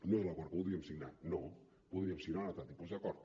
no és l’acord que voldríem signar no voldríem signar un altre tipus d’acord